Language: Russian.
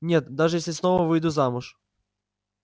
нет даже если снова выйду замуж